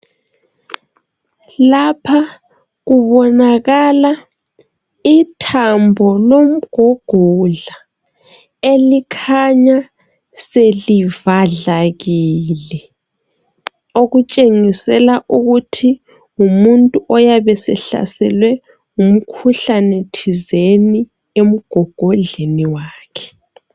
Lapha kubonakala ithambo lomgogodla elikhanya selivadlakele. Okutshengisela ukuthi ngumuntu oyabesehlaselwe ngumkhuhlane thizeni emgogodleni wakhe.